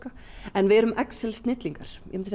en við erum excel snillingar myndi